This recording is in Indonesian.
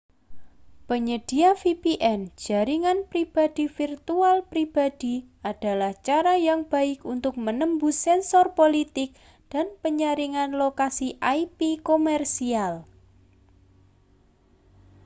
penyedia vpn jaringan pribadi virtual pribadi adalah cara yang baik untuk menembus sensor politik dan penyaringan lokasi ip komersial